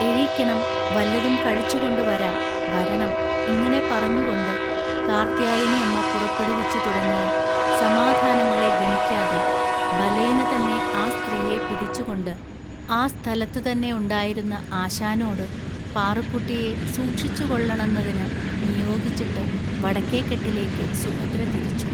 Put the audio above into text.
എഴിക്കണം, വല്ലതും കഴിച്ചുകൊണ്ടു വരാം, വരണം ഇങ്ങനെ പറഞ്ഞുകൊണ്ടു കാർത്യായനിഅമ്മ പുറപ്പെടുവിച്ചു തുടങ്ങിയ സമാധാനങ്ങളെ ഗണിക്കാതെ ബലേനതന്നെ ആ സ്ത്രീയെ പിടിച്ചുകൊണ്ട്, ആ സ്ഥലത്തുതന്നെ ഉണ്ടായിരുന്ന ആശാനോടു പാറുക്കുട്ടിയെ സൂക്ഷിച്ചുകൊള്ളണന്നതിനു നിയോഗിച്ചിട്ട് വടക്കേക്കെട്ടിലേക്ക് സുഭദ്ര തിരിച്ചു.